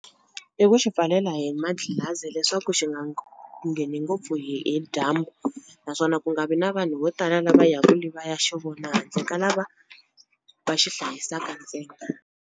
I ku xi pfalela hi madlilazi leswaku xi nga ngheni ngopfu hi hi dyambu naswona ku nga vi na vanhu vo tala lava ya ku le va ya xi vona handle ka lava va xi hlayisaka ntsena.